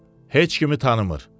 Heç kimi tanımır.